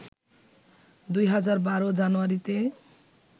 ২০১২ জানুয়ারিতে